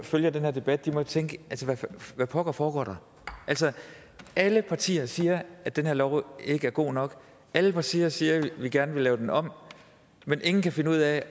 følger den her debat må tænke hvad pokker foregår der altså alle partier siger at den her lov ikke er god nok alle partier siger at de gerne vil lave den om men ingen kan finde ud af